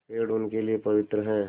पेड़ उनके लिए पवित्र हैं